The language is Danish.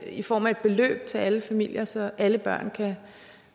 i form af et beløb til alle familier så alle børn kan